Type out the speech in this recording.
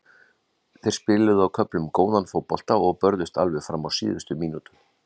Þeir spiluðu á köflum góðan fótbolta og börðust alveg fram á síðustu mínútu.